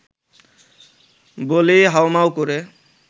বলেই হাউমাউ করে